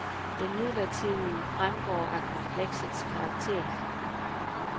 Det midlertidige fremgår af kompleksets karakter.